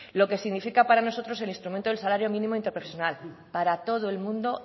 lo que significa para nosotros el instrumento del salario mínimo interprofesional para todo el mundo